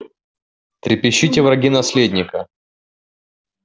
трепещите враги наследника